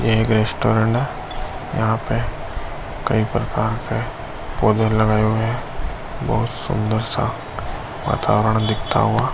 ये एक रेस्टोरेंट है। यहाँ पे कई प्रकार के पौधे लगाये हुए हैं। बहुत सुन्दर सा वातावरण दिखता हुआ --